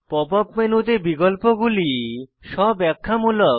pop up মেনুতে বিকল্পগুলি স্ব ব্যাখ্যামূলক